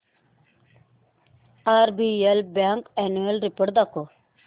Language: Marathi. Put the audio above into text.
आरबीएल बँक अॅन्युअल रिपोर्ट दाखव